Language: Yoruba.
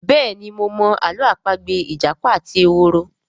béèni mo mọ Àló̩ àpagbè ìjàpá àti ehoro.